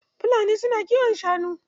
Bafulatanai su na kiwon shanu.